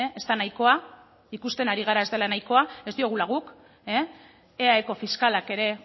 ez da nahikoa ikusten ari gara ez dela nahikoa ez diogula guk eaeko fiskalak ere